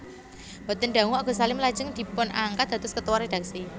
Boten dangu Agus Salim lajeng dipunangkat dados Ketua Rédaksi